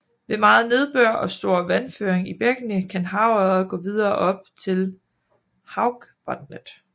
Ved meget nedbør og stor vandføring i bækkene kan havørred gå videre op ad til Haugvatnet